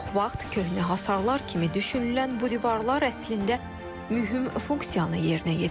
Çox vaxt köhnə hasarlar kimi düşünülən bu divarlar əslində mühüm funksiyanı yerinə yetirir.